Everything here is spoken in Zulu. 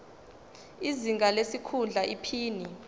izinga lesikhundla iphini